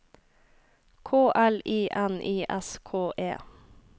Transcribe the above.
K L I N I S K E